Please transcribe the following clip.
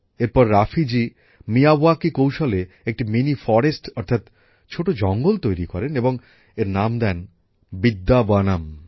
এরপর রাফিজি মিয়াওয়াকি কৌশলে একটি মিনি ফরেস্ট অর্থাৎ ছোট জঙ্গল তৈরি করেন এবং এর নাম দেন বিদ্যাবনম